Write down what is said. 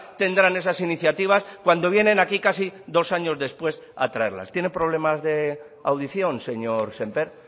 tendrán esas iniciativas cuando vienen aquí casi dos años después a traerlas tiene problemas de audición señor sémper